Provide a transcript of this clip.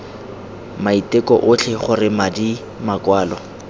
maiteko otlhe gore madi makwalo